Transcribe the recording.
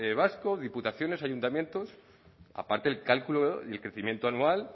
vasco diputaciones ayuntamientos aparte el cálculo y el crecimiento anual